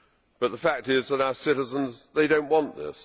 But the fact is that our citizens do not want this